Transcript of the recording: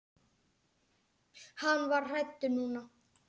Hann var hræddur núna.